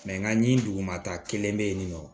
nka nin dugumata kelen bɛ yen nɔ